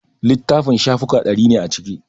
Littafin shafuka ɗari ne a ciki